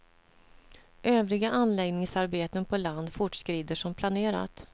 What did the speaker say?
Övriga anläggningsarbeten på land fortskrider som planerat.